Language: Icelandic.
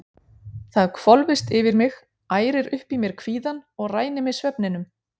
Það hvolfist yfir mig, ærir upp í mér kvíðann og rænir mig svefninum.